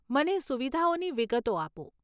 મને સુવિધાઓની વિગતો આપો.